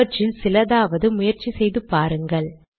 அவற்றில் சிலதாவது முயற்சி செய்து பாருங்கள்